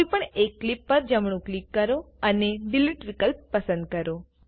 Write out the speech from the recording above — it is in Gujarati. કોઈપણ એક ક્લીપ પણ જમણું ક્લિક કરો અને ડિલીટ વિકલ્પ પસંદ કરો